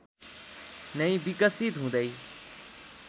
नै विकिसत हुँदै